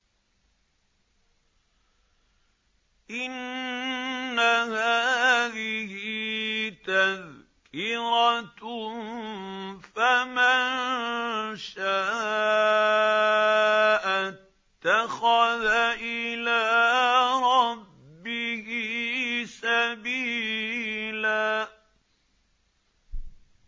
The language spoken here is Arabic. إِنَّ هَٰذِهِ تَذْكِرَةٌ ۖ فَمَن شَاءَ اتَّخَذَ إِلَىٰ رَبِّهِ سَبِيلًا